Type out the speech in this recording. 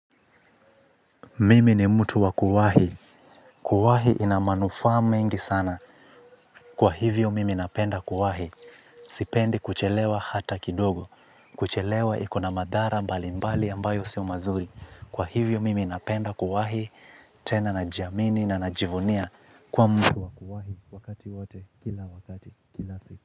Mimi ni mtu wa kuwahi, kuwahi ina manufaa mengi sana kwa hivyo mimi napenda kuwahi, sipendi kuchelewa hata kidogo, kuchelewa iko na madhara mbalimbali ambayo sio mazuri, kwa hivyo mimi napenda kuwahi, tena najiamini na najivunia kuwa mtu wa kuwahi wakati wote, kila wakati, kila siku.